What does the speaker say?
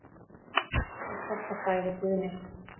Um þetta sagði Guðni.